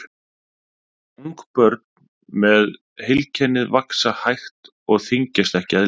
ungbörn með heilkennið vaxa hægt og þyngjast ekki eðlilega